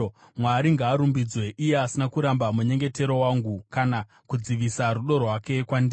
Mwari ngaarumbidzwe, iye asina kuramba munyengetero wangu. Kana kudzivisa rudo rwake kwandiri!